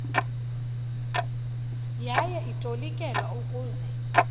yaye itolikelwa ukuze